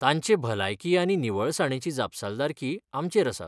तांचे भलायकी आनी निवळसाणेची जापसालदारकी आमचेर आसा.